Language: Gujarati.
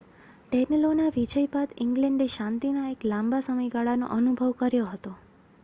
ડેનલોનાં વિજય બાદ ઇંગ્લેન્ડે શાંતિના એક લાંબા સમયગાળાનો અનુભવ કર્યો હતો